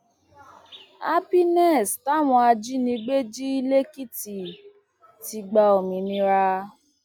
happiness táwọn ajìnígbé jí lèkìtì ti gba òmìnira